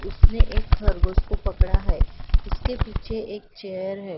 उसने एक खरगोश को पकड़ा हैं उसके पीछे एक चेयर हैं वहाँ पर।